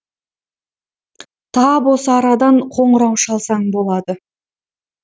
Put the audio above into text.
тап осы арадан қоңырау шалсаң болады